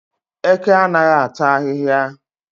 Eke anaghị ata ahịhịa